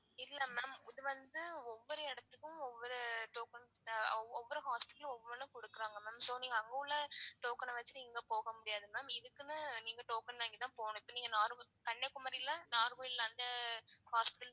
இல்ல ma'am இது வந்து ஒவ்வொரு எடத்துக்கும் ஒவ்வொரு token ஒவ்வொரு hospital ம் ஒவ்வொன்னு குடுக்குறாங்க mam so நீங்க அங்க உள்ள token அ வச்சி இங்க போக முடியாது ma'am இதுக்குனு நீங்க token வாங்கி தான் போகனும் இப்போ நீங்க normal கன்னியாகுமாரி ல normal அந்த hospital